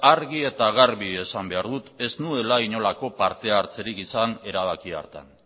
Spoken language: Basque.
argi eta garbi esan behar dut ez nuela inolako parte hartzerik izan erabaki hartan